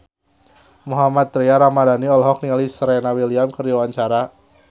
Mohammad Tria Ramadhani olohok ningali Serena Williams keur diwawancara